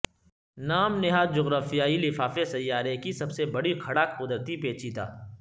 نام نہاد جغرافیائی لفافے سیارے کی سب سے بڑی کھڑا قدرتی پیچیدہ